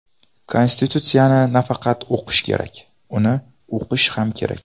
Konstitutsiyani nafaqat o‘qish kerak, uni uqish ham kerak.